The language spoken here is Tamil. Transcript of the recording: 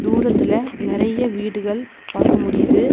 தூரத்துல நெரைய வீடுகள் பாக்க முடிது.